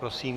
Prosím.